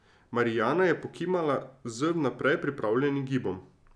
Marijana je pokimala z vnaprej pripravljenim gibom.